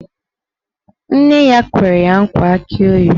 Nne ya kwere ya nkwa akị oyibo